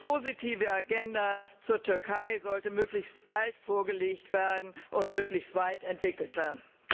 Die positive Agenda zur Türkei sollte möglichst bald vorgelegt und möglichst weit entwickelt werden.